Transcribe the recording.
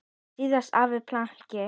Síðasta æfingin planki.